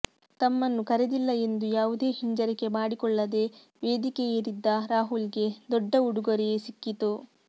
ತಮ್ಮನ್ನು ಕರೆದಿಲ್ಲ ಎಂದು ಯಾವುದೇ ಹಿಂಜರಿಕೆ ಮಾಡಿಕೊಳ್ಳದೆ ವೇದಿಕೆ ಏರಿದ್ದ ರಾಹುಲ್ಗೆ ದೊಡ್ಡ ಉಡುಗೊರೆಯೇ ಸಿಕ್ಕಿತು